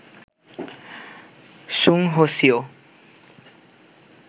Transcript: সুং Ho CO